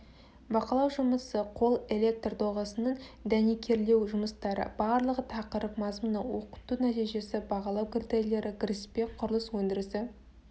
бақылау жұмысы қол электр доғасының дәнекерлеу жұмыстары барлығы тақырып мазмұны оқыту нәтижесі бағалау критерийлері кіріспе құрылыс өндірісі